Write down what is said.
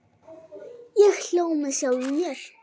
Ég hló með sjálfum mér.